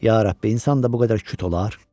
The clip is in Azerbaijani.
Ya Rəbbi, insan da bu qədər küt olar?